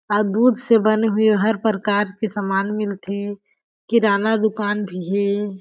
अ दूध से बने हुए हर परकार के समान मिलथे किराना दुकान भी हे।